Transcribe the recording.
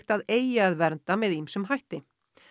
að eigi að vernda með ýmsum hætti